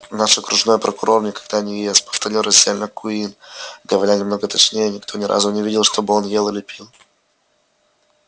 наш окружной прокурор никогда не ест повторил раздельно куинн говоря немного точнее никто ни разу не видел чтобы он ел или пил